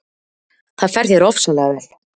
Það fer þér ofsalega vel!